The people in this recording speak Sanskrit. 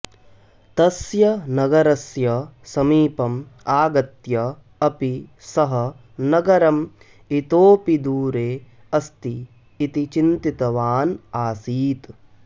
तस्य नगरस्य समीपम् आगत्य अपि सः नगरम् इतोऽपि दूरे अस्ति इति चिन्तितवान् आसीत्